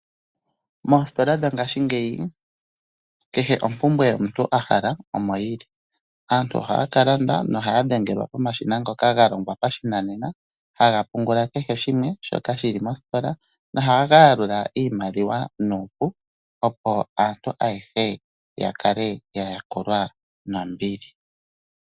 Moostola dhongaashingeyi kehe ompumbwe omuntu ahaka omoyili. Aantu ohaya kalanda nohaya dhengelwa pomashina ngoka galongwa pashinanena haga pungula kehe shimwe shoka shili mostola. Ohaga yalula iimaliwa nuupu opo aantu ayehe yakale yaya kulwa nombili.